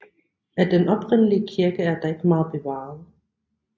Af den oprindelige kirke er der ikke meget bevaret